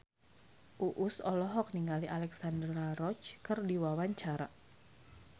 Uus olohok ningali Alexandra Roach keur diwawancara